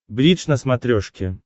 бридж на смотрешке